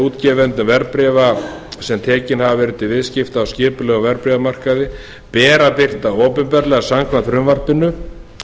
útgefendur verðbréfa sem tekin hafa verið til viðskipta á skipulegum verðbréfamarkaði ber að birta opinberlega samkvæmt frumvarpinu